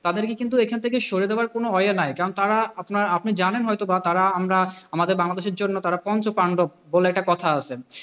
তাদেরকে কিন্তু এখান থেকে সরিয়ে দেবার কোন way নাই। কারণ তারা আপনার আপনি জানেন হয়ত বা তারা আমরা আমাদের বাংলাদেশের জন্য তারা পঞ্চপান্ডব বলে একটা কথা আছে।